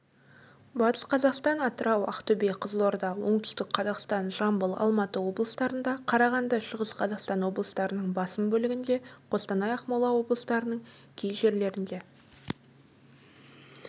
батыс қазақстан атырау ақтөбе қызылорда оңтүстік қазақстан жамбыл алматы облыстарында қарағанды шығыс қазақстан облыстарының басым бөлігінде қостанай ақмола облыстарының кей жерлерінде